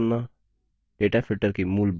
columns द्वारा sorting करना